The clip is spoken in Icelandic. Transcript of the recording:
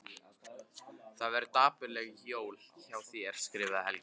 Það verða dapurleg jól hjá þér skrifar Helgi.